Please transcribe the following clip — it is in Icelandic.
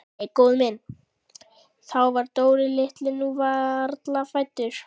Nei góða mín, þá var Dóri litli nú varla fæddur.